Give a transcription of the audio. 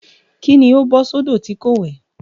Kí ni ó bọ́ sódò tí kò wẹ̀?